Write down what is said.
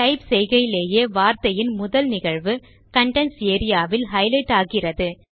type செய்கையிலேயே வார்த்தையின் முதல் நிகழ்வு கன்டென்ட்ஸ் ஏரியா வில் ஹைலைட் ஆகிறது